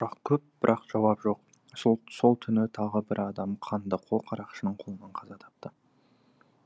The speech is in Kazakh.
бұрақ көп бірақ жауап жоқ сол түні тағы бір адам қандықол қарақшының қолынан қаза тапты